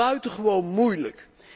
buitengewoon moeilijk.